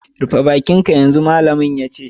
Rufe baki'n ka yanzu, malamin ya ce.